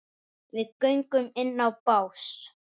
Þessari slátrun verður að ljúka.